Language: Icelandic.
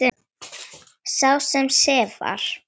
Sá sem sefar.